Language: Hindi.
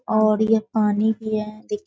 और यह पानी भी है दे --